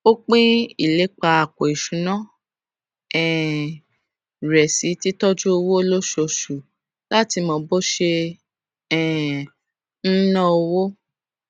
ó pín ìlépa àpò ìṣúnná um rẹ sí títójú owó lóṣooṣù láti mọ bó ṣe um n ná owó